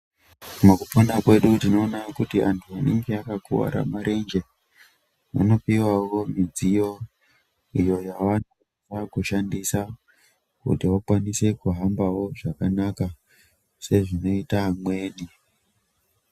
Mukupona kwedu tinoona kuti antu anenge akakuwara marenje vanopiwawo midziyo iyo yavanofana kushandisa kuti vakwanise kuhambawo zvakanaka sezvinoita amweni.